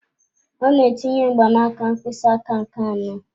Ọ na-etinye mgbanaka mkpịsị aka nke anọ.